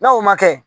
N'o ma kɛ